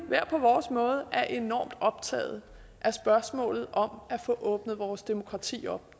hver vores måde er enormt optaget af spørgsmålet om at få åbnet vores demokrati op